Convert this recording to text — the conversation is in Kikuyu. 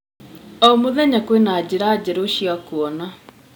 O mũthenya kwĩna thena njerũ cia kuona.